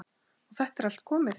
Og þetta er allt komið.